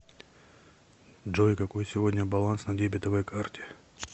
джой какой сегодня баланс на дебетовой карте